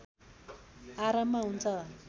आरम्भ हुन्छ